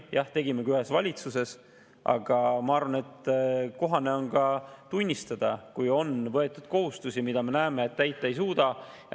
Jah, tegimegi ühes valitsuses, aga ma arvan, et kohane on ka tunnistada, kui on võetud kohustusi, mida me näeme, et täita ei suuda.